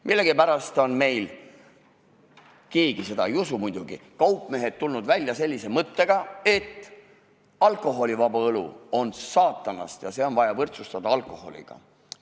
Millegipärast on meil – keegi seda ei usu muidugi – kaupmehed tulnud välja sellise mõttega, et alkoholivaba õlu on saatanast ja see on vaja võrdsustada alkoholiga.